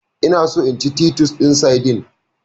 Eh, ina so in ci titus din sardine.